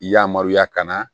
Yamaruya ka na